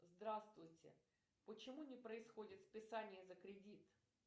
здравствуйте почему не происходит списание за кредит